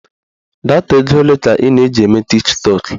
Data ego ole ka ị na-eji eme tiktọk?